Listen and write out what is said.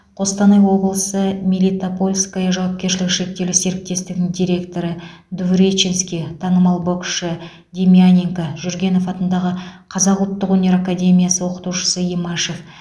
қостанай облысы мелитопольское жауапкершілігі шектеулі серіктестігінің директоры двуреченский танымал боксшы демьяненко жүргенов атындағы қазақ ұлттық өнер академиясы оқытушысы имашев